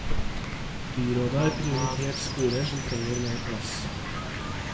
Byrådet har prioritert skoler som trenger mer plass.